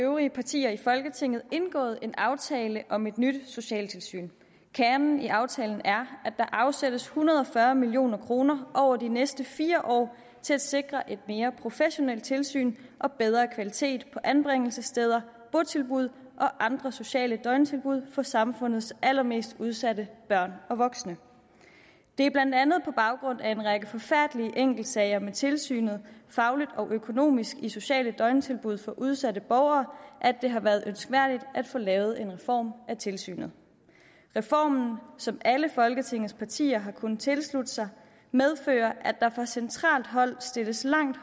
øvrige partier i folketinget indgået en aftale om et nyt socialtilsyn kernen i aftalen er at der afsættes en hundrede og fyrre million kroner over de næste fire år til at sikre et mere professionelt tilsyn og bedre kvalitet på anbringelsessteder botilbud og andre sociale døgntilbud for samfundets allermest udsatte børn og voksne det er blandt andet på baggrund af en række forfærdelige enkeltsager med tilsynet fagligt og økonomisk i sociale døgntilbud for udsatte borgere at det har været ønskværdigt at få lavet en reform af tilsynet reformen som alle folketingets partier har kunnet tilslutte sig medfører at der fra centralt hold stilles langt